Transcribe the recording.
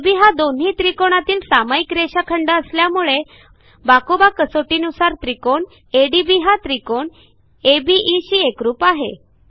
अब हा दोन्ही त्रिकोणातील सामाईक रेषाखंड असल्यामुळे बाकोबा कसोटीनुसार त्रिकोण एडीबी हा त्रिकोण अबे शी एकरूप आहे